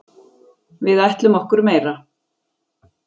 Við ætlum okkur meira.